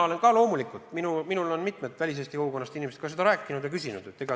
Loomulikult, ka minult on mitmed väliseesti kogukonda kuuluvad inimesed selle kohta küsinud.